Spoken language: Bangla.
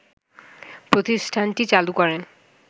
প্রতিষ্ঠানটি চালু করেন